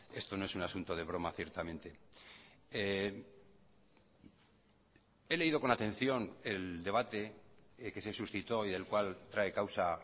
esto no es un asunto de broma ciertamente he leído con atención el debate que se suscitó y del cual trae causa